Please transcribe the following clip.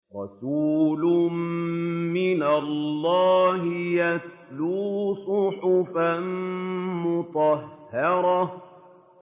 رَسُولٌ مِّنَ اللَّهِ يَتْلُو صُحُفًا مُّطَهَّرَةً